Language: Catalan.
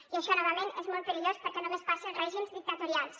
i això novament és molt perillós perquè només passa als règims dictatorials